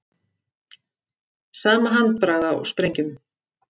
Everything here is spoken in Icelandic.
Sama handbragð á sprengjum